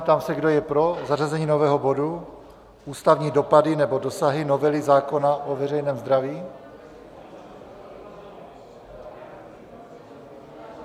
Ptám se, kdo je pro zařazení nového bodu Ústavní dopady nebo dosahy novely zákona o veřejném zdraví.